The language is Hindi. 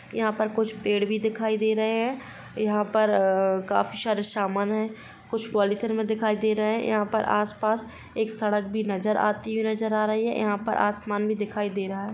यहाँ पर कुछ पेड़ भी दिखाई दे रहे है यहाँ पर अ अ काफी सारे सामान है कुछ पॉलिथीन में दिखाई दे रहा है यहाँ पर आस-पास एक सड़क भी नजर आती हुई नजर आ रही है यहाँ पर आसमान भी दिखाई दे रहा है।